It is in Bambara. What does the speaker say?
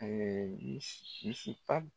mis misi pad